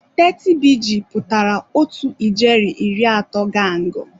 30BG pụtara otu ijeri iri atọ gangụ.